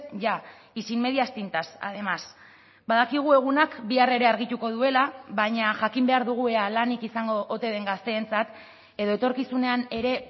ya y sin medias tintas además badakigu egunak bihar ere argituko duela baina jakin behar dugu ea lanik izango ote den gazteentzat edo etorkizunean ere